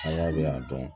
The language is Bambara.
bɛ yan dɔn